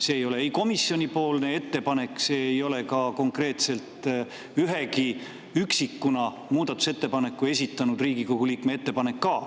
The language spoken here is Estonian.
See ei ole komisjoni ettepanek, see ei ole ka konkreetselt ühegi üksikuna muudatusettepaneku esitanud Riigikogu liikme ettepanek.